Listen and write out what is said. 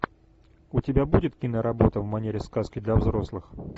у тебя будет киноработа в манере сказки для взрослых